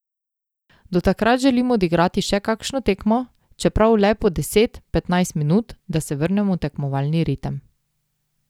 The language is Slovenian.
Do takrat želim odigrati še kakšno tekmo, čeprav le po deset, petnajst minut, da se vrnem v tekmovalni ritem.